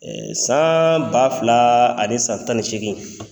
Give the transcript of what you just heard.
San ba fila ani san tan ni seegin